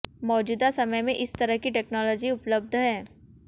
मौजूदा समय में इस तरह की टेक्नोलाजी उपलब्ध है